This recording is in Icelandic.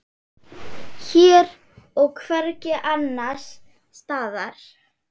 Hér og hvergi annars staðar.